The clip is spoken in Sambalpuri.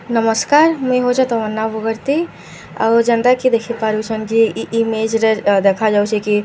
ନମସ୍କାର ମୁଇଁ ହଉଛେଁ ତମନ୍ନା ବଗର୍ତ୍ତୀ ଆଉ ଯେନ୍ତା କି ଦେଖି ପାରୁଛନ୍‌ କି ଇ ଇମେଜ ରେ ଅ ଦେଖ ଯାଉଛି କି ଅ--